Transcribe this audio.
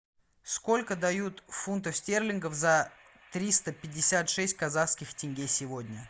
сколько дают фунтов стерлингов за триста пятьдесят шесть казахских тенге сегодня